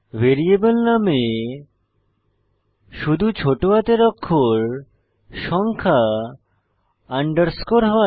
variable নামে শুধু ছোট হাতের অক্ষর সংখ্যা আন্ডারস্কোর হয়